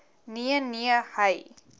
nee nee hy